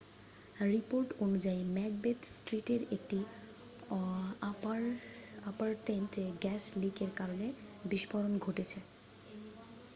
report অনুযায়ী Macbeth স্ট্রীটের একটি অ্যাপারট্মেন্টে গ্যাস লিক এর কারনে বিস্ফোরণ ঘটেছে